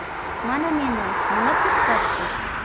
Mana meni nima to‘xtatdi.